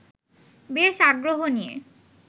বেশ আগ্রহ নিয়ে